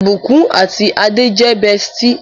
Ibukun àti Ade jé bestie.